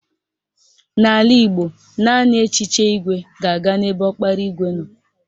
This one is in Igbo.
N'ala Igbo, naanị echiche igwe ga-aga n'ebe ọkpara igwe nọ